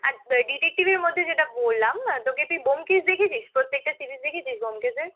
আর detective এর মধ্যে যেটা বললাম তোকে তুই ব্যোমকেশ দেখেছিস প্রত্যেকটা series দেখেছিস ব্যোমকেশে এর?